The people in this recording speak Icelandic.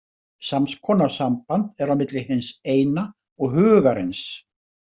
Sams konar samband er á milli hins Eina og Hugarins.